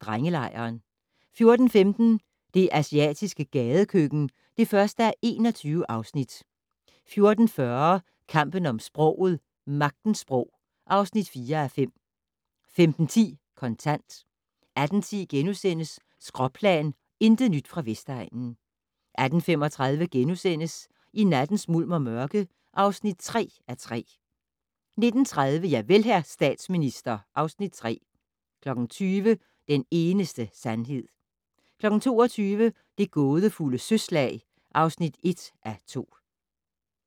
Drengelejren * 14:15: Det asiatiske gadekøkken (1:21) 14:40: Kampen om sproget - Magtens sprog (4:5) 15:10: Kontant 18:10: Skråplan - intet nyt fra Vestegnen * 18:35: I nattens mulm og mørke (3:3)* 19:30: Javel, hr. statsminister (Afs. 3) 20:00: Den eneste sandhed 22:00: Det gådefulde søslag (1:2)